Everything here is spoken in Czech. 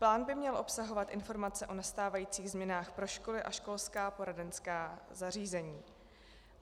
Plán by měl obsahovat informace o nastávajících změnách pro školy a školská poradenská zařízení.